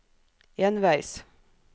enveis